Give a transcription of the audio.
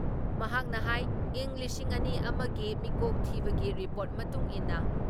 ꯃꯍꯥꯛꯅ ꯍꯥꯏ ꯏꯪ ꯂꯤꯁꯤꯡ ꯑꯅꯤ ꯑꯃ ꯒꯤ ꯃꯤꯀꯣꯛ ꯊꯤꯕꯒꯤ ꯔꯤꯄꯣꯔꯠ ꯃꯇꯨꯡꯏꯟꯅ